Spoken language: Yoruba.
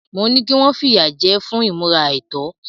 Mo ní kí wọ́n fìyà jẹ ẹ́ fún ìmúra àìtọ́.